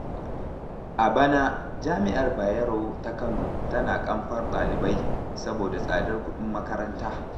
A bana jami'ar Bayero ta Kano tana ƙamfar ɗalibai, saboda tsadar kuɗin karatu.